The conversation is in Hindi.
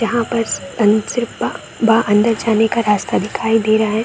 यहां पर स उन बा बा अंदर जाने का रास्ता दिखाई दे रहा है।